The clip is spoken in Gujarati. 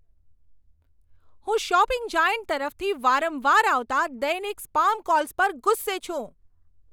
હું શોપિંગ જાયન્ટ તરફથી વારંવાર આવતા દૈનિક સ્પામ કોલ્સ પર ગુસ્સે છું.